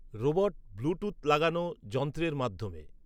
robot Bluetooth লাগানো যন্ত্রের মাধ্যমে